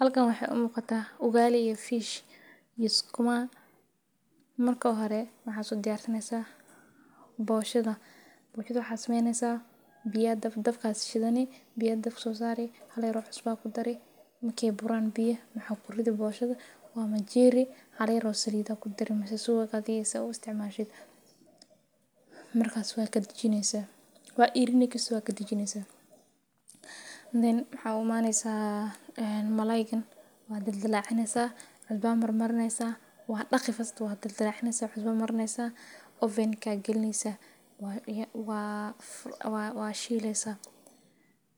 Halkan waxee u muqata ugali iyo fish iyo sukuma marka hore ugalida ta sodiyarsani bita aya dabka sari boshaada aya ķdari marka waa kadijineysa marka malalayga aya u imaneysa waa daqeysa kadib aya kairini sukuma ga waa shileysa